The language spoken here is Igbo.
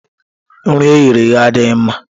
Nri e ghere eghe adịghị mma.